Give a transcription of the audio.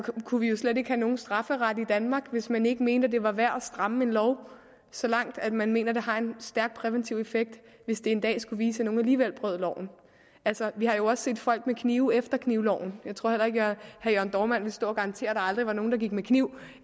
kunne jo slet ikke have nogen strafferet i danmark hvis man ikke mente at det var værd at stramme en lov så langt at man mener at den har en stærk præventiv effekt hvis det en dag skulle vise nogle alligevel brød loven altså vi har jo også set folk med knive efter knivlovens jeg tror heller ikke at herre jørn dohrmann vil stå og garantere at der aldrig er nogen gå med kniv